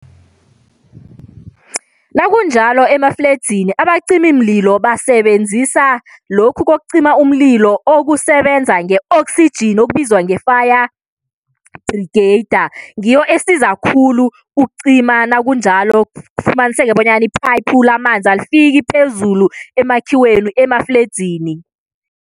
Nakunjalo emafledzini abacimimlilo basebenzisa lokhu kokucima umlilo okusebenza nge-oxygen okubizwa nge-fire brigade Ngiyo esiza khulu ukucima nakunjalo kufumaniseka bonyana ipayiphu lamanzi alifiki phezulu emakhiweni emafledzini.